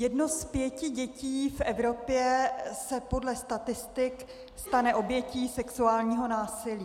Jedno z pěti dětí v Evropě se podle statistik stane obětí sexuálního násilí.